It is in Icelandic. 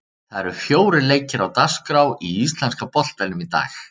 Það eru fjórir leikir á dagskrá í íslenska boltanum í dag.